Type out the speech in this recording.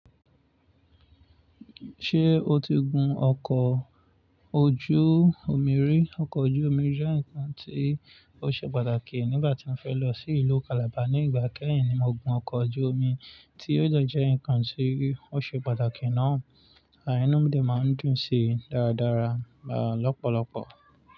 Ṣé o ti gun ọkọ̀ ojú omi rí? Ọkọ̀ ojú omi jẹ́ nǹkan tí ó ṣe pàtàkì nígbà tí mo fẹ́ lọ sí ìlú Calabar. Ní ìgbà kẹ́yìn ni mo gun ọkọ̀ ojú omi, tí ó jẹ́ nǹkan tí ó ṣe pàtàkì náà, àa ínù mi máa ń dùn si dáradára lọ́pọ̀lọpọ̀.